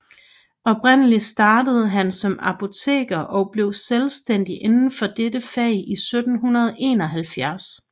Oprindelig startede han som apoteker og blev selvstændig indenfor dette fag i 1771